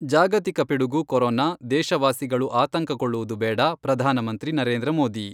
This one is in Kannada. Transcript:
ಜಾಗತಿಕ ಪಿಡುಗು ಕೊರೋನಾ, ದೇಶವಾಸಿಗಳು ಆತಂಕಕೊಳ್ಳುವುದು ಬೇಡ, ಪ್ರಧಾನ ಮಂತ್ರಿ ನರೇಂದ್ರ ಮೋದಿ.